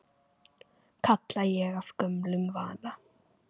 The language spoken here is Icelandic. kalla ég af gömlum vana.